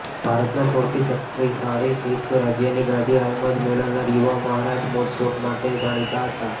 ભારતના સૌથી શક્તિશાળી શીખ રાજ્યની ગાદી હાલમાં જ મેળવનારા યુવા મહારાજ મોજશોખ માટે જાણીતા હતા